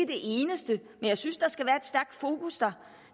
det eneste men jeg synes der skal være et stærkt fokus der